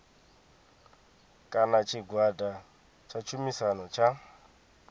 kana tshigwada tsha tshumisano tsha